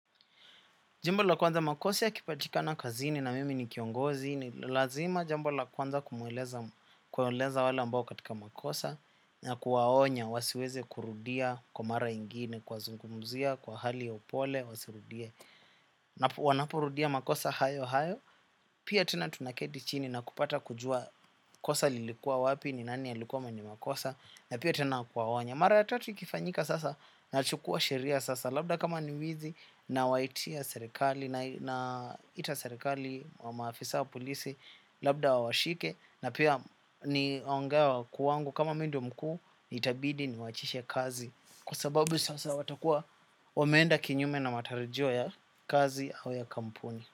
Jambola kwanza makosa yakipatikana kazini na mimi ni kiongozi ni lazima jambo la kwanza kumweleza wale ambao katika makosa na kuwaonya wasiweze kurudia kwa mara ingine kuwazungumzia kwa hali ya upole wasirudie. Wanapo rudia makosa hayo hayo pia tena tunaketi chini na kupata kujua kosa lilikua wapi ni nani alikuwa mwenye makosa na pia tena kuwaonya. Mara tatu ikifanyika sasa nachukua sheria sasa. Labda kama ni wizi nawaitia serikali naita serikali wa maafisa wa polisi. Labda wawashike na pia ni ongewa kwangu kama mi ndio mkuu. Itabidi ni waachishe kazi. Kwa sababu sasa watakuwa wameenda kinyume na matarijio ya kazi au ya kampuni.